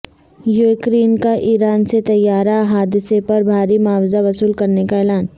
Ukraine کا Iran سے طیارہ حادثہ پر بھاری معاوضہ وصول کرنے کا اعلان